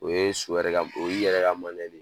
O ye so yɛrɛ ka, o y'i yɛrɛ ka ye.